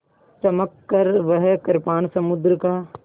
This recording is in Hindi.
चमककर वह कृपाण समुद्र का